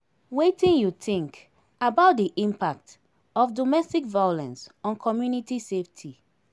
wetin you think about di impact of domestic violence on community safety?